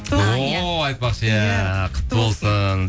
о айтпақшы иә құтты болсын